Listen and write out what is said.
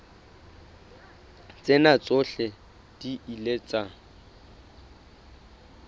tsena tsohle di ile tsa